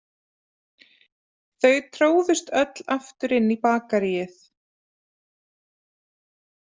Þau tróðust öll aftur inn í Bakaríið.